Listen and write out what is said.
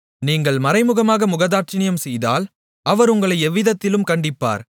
நீங்கள் மறைமுகமாக முகதாட்சிணியம் செய்தால் அவர் உங்களை எவ்விதத்திலும் கண்டிப்பார்